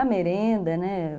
A merenda, né?